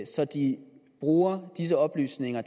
så de bruger disse oplysninger